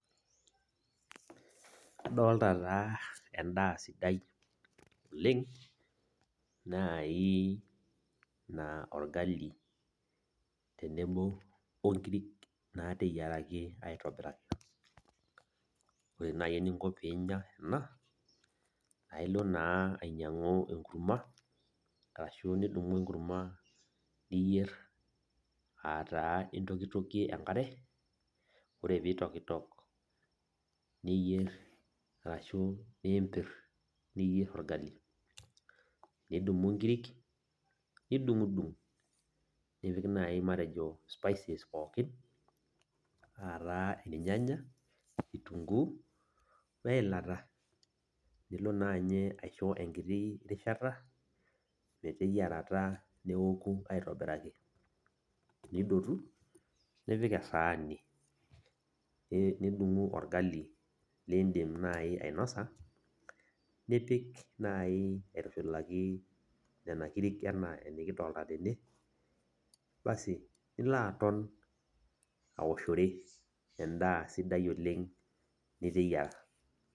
Kadolita taa en'daa sidai oleng naai naa orgali tenebo onkirik nateyiaraki aitobiraki. Oore naaji eninko peyie iinya eena ailo naa ainyiang'u enkurma arashu nidumu enkurma, niyier, aah taa intokitokie enkare, oore peyie itokitok niyier arashu niimpir, niyier orgali. Nidumu inkirik, nidung'udung nipik naaji matejo spices pooki aah taa irnyanya, kitunguu, weilata. Nilo naa ninye aisho enkiti rishata meteyiarata, neoku aitobiraki. Nidotu nipik esaani. Nidumu orgali liin'dim naaji ainosa, nipik naaji aitushulaki nena kirik enaa enekidolta teene, aasi niilo aton aoshore en'da sidai oleng' niteyiara.